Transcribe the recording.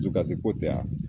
Dusukasi ko tɛ a